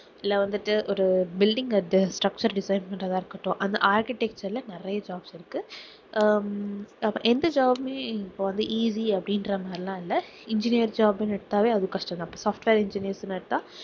இல்ல வந்துட்டு ஒரு building structure design பண்ணுறதா இருக்கட்டும் அந்த architecture ல நிறைய jobs இருக்கு ஹம் எந்த job உமே இப்போ வந்து easy அப்படின்ற மாதிரி எல்லாம் இல்லை engineer job னு எடுத்தாவே அது கஷ்டம் தான் software engineers னு எடுத்தா